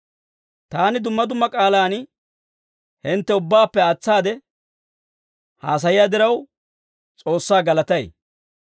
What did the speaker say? Taani dumma dumma k'aalaan hintte ubbaappe aatsaade haasayiyaa diraw, S'oossaa galatay.